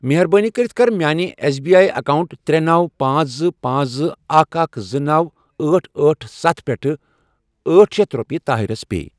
مہربٲنی کٔرِتھ کر میانہِ ایٚس بی آی اکاونٹ ترے، نوَ، پانژھ، زٕ، پانژھ، زٕ، اکھَ، اکھَ، زٕ، نوَ، أٹھ، أٹہ، ستھَ، پٮ۪ٹھٕ کَر ٲٹھ شیتھ رۄپیہِ طاہِرس پے۔